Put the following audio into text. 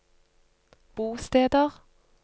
bosteder